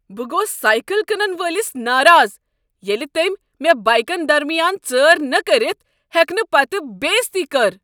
بہٕ گوس سایکل کٕنن وٲلس ناراض ییٚلہ تمہِ مے بایكن درمیان ژٲر نہٕ كرِتھ ہیكنہٕ پتہٕ بےٚعزتی کٔر۔